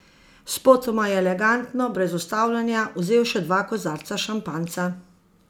Spotoma je elegantno, brez ustavljanja, vzel še dva kozarca šampanjca.